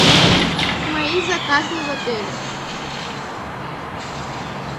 мои заказы в отеле